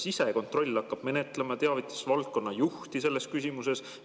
Kas sisekontroll hakkab menetlema, teavitades valdkonna juhti selles küsimuses?